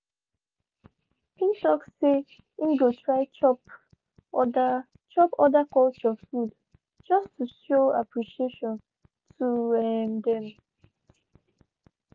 him talk say him go try chop other chop other culture food just to show appreciation to um dem.